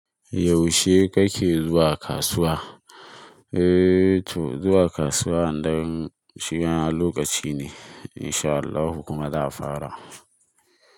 Yaushe kake zuwa kasuwa? Eee to zuwa kasuwa, an dai shiga lokaci ne. Insha Allahu kuma za a fara.